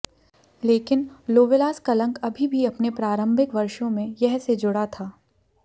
लेकिन लोवेलास कलंक अभी भी अपने प्रारंभिक वर्षों में यह से जुड़ा था